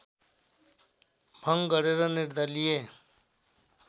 भङ्ग गरेर निर्दलीय